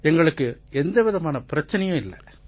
எங்களுக்கு எந்தவிதமான பிரச்சனையும் இருக்கலை